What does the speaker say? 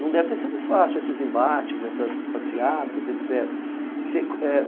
Não deve ter sido fácil esses embates, essas passeatas, etc.